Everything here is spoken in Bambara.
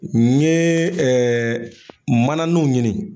N ye ɛɛ mananuw ɲini